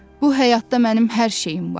Bu həyatda mənim hər şeyim var.